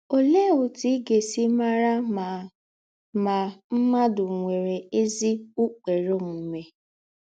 Olèé òtù í gà-èsí màrà ma ma mmádụ̀ nwèrè ézí ụ́kpèrè ōmùmè?